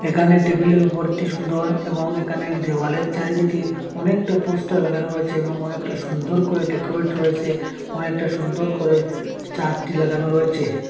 এখানে টেবিলের ওপরটি সুন্দর এবং এখানের দেয়ালের চারিদিকে অনেকটা পোস্টার লাগানো রয়েছে এবং অনেকটা সুন্দর করে ডেকোরেট রয়েসে অনেকটা সুন্দর করে ছাদটি লাগানো রয়েছে।